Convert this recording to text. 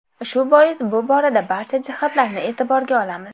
Shu bois bu borada barcha jihatlarni e’tiborga olamiz.